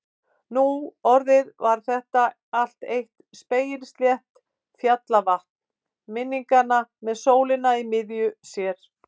Nú orðið var þetta allt eitt spegilslétt fjallavatn minninga með sólina í miðju sér.